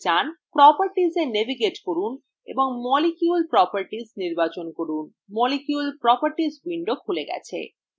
properties এ navigate করুন এবং molecule properties নির্বাচন করুন